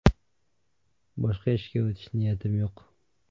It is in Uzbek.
Boshqa ishga o‘tish niyatim yo‘q.